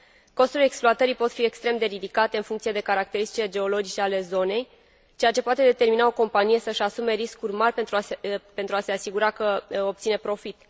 Costurile exploatării pot fi extrem de ridicate, în funcție de caracteristicile geologice ale zonei, ceea ce poate determina o companie să își asume riscuri mari pentru a se asigura că obține profit.